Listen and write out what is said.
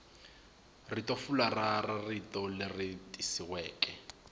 ritofularha ra rito leri tikisiweke